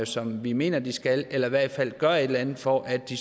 som vi mener de skal eller i hvert fald gøre et eller andet for at de